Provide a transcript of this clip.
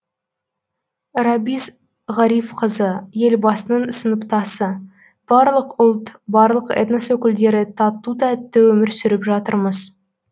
рабис ғарифқызы елбасының сыныптасы барлық ұлт барлық этнос өкілдері тату тәтті өмір сүріп жатырмыз